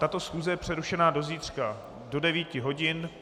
Tato schůze je přerušena do zítřka do 9 hodin.